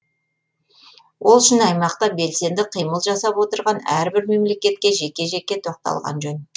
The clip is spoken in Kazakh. ол үшін аймақта белсенді қимыл жасап отырған әрбір мемлекетке жеке жеке тоқталған жөн